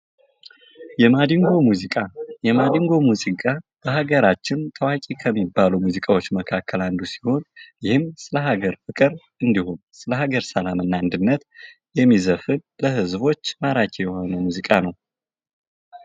የማዲንጎ ሙዚቃ የማዲንጎ ሙዚቃ በሀገራችን ታዋቂ ከሚባሉ ሙዚቃዎች መካከል አንዱ ሲሆን ይህም በሃገር ፍቅር እንዲሁም ስለ ሀገር ሰላምና አንድነት የሚዘፈን ለህዝቦች ማራኪ የሆነ ሙዚቃ ነው።